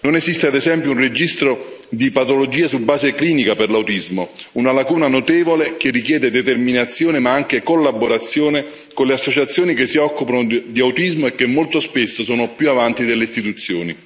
Non esiste ad esempio un registro di patologie su base clinica per l'autismo, una lacuna notevole che richiede determinazione ma anche collaborazione con le associazioni che si occupano di autismo e che molto spesso sono più avanti delle istituzioni.